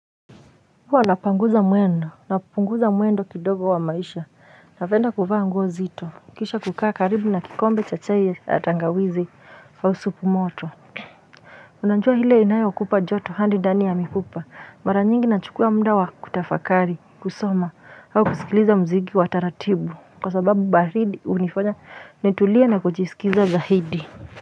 Huwa napanguza mwendo, napunguza mwendo kidogo wa maisha, napenda kuvaa nguo zito, kisha kukaa karibu na kikombe cha chai ya tangawizi au supu moto Unajua ile inayokupa joto hadi ndani ya mifupa, mara nyingi nachukua muda wa kutafakari, kusoma, au kusikiliza mziki wa taratibu kwa sababu baridi hunifanya nitulie na kujisikiza zaidi.